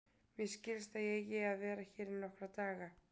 Mér skilst að ég eigi að vera hér í nokkra daga.